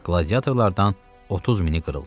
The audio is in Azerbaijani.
Qladiatorlardan 30 mini qırıldı.